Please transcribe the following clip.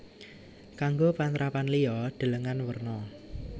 Kanggo panrapan liya delengen werna